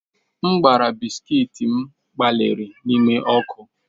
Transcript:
M gbara bisikiiti m gbalịrị ime ọkụ.